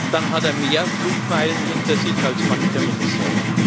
Dann hat er mehr Flugmeilen hinter sich als mancher Minister.